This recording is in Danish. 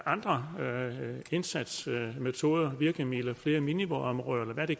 andre indsatsmetoder og virkemidler flere minivådområder eller hvad det